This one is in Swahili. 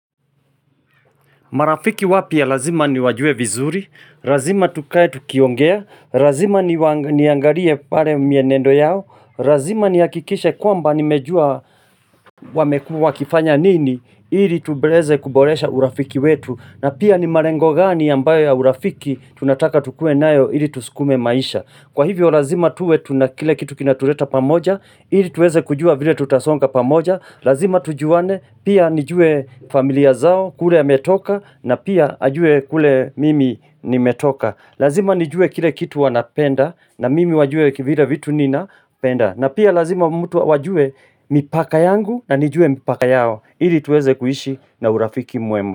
Marafiki wapya lazima ni wajue vizuri, razima tukae tukiongea, razima ni waniangalie pare mienendo yao, razima ni hakikishe kwamba ni mejua wamekua kifanya nini, ili tubeleze kuboresha urafiki wetu, na pia ni marengo gani ambayo ya urafiki tunataka tukue nayo ili tusukume maisha. Kwa hivyo lazima tuwe tuna kile kitu kinatureta pamoja, ili tuweze kujua vile tutasonga pamoja, lazima tujuane pia nijue familia zao kule ametoka na pia ajue kule mimi nimetoka. Lazima nijue kile kitu wanapenda na mimi wajue vile vitu nina penda na pia lazima mtu wajue mipaka yangu na nijue mipaka yao, ili tuweze kuishi na urafiki muema.